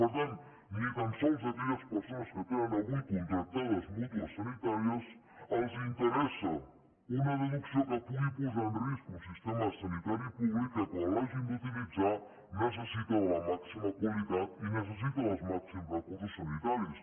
per tant ni tan sols a aquelles persones que tenen avui contractades mútues sanitàries els interessa una deducció que pugui posar en risc un sistema sanitari públic que quan l’hagin d’utilitzar necessita de la màxima qualitat i necessita dels màxims recursos sanitaris